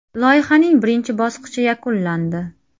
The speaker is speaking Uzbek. Loyihaning birinchi bosqichi yakunlandi.